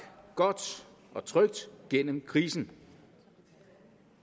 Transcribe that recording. godt og trygt gennem krisen